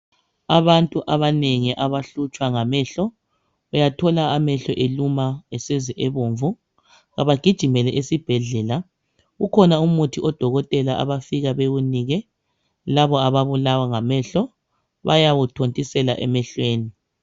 Abantu abanengi abahlutshwa ngamehlo. Uyathola amehlo eluma, eseze ebomvu. Abagijimele esibhedlela ukhona umuthi odokothela abafika bawunike, labo ababulawa ngamehlo, bayawuthontisela emehlweni.